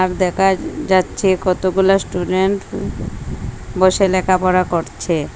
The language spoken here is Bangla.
দেকা যাচ্ছে কতগুলা স্টুডেন্ট বসে লেখাপড়া করছে।